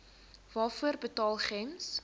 waarvoor betaal gems